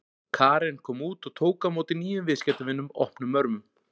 Karen kom út og tók á móti nýjum viðskiptavinum opnum örmum.